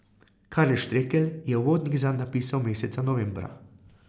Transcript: Karel Štrekelj je uvodnik zanj napisal meseca novembra.